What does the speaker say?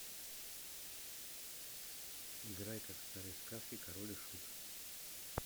играй как в старой сказке король и шут